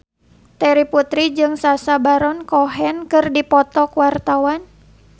Terry Putri jeung Sacha Baron Cohen keur dipoto ku wartawan